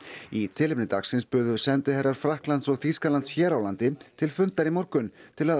í tilefni dagsins buðu sendiherrar Frakklands og Þýskalands hér á landi til fundar í morgun til að